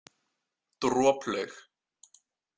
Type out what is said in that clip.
Droplaug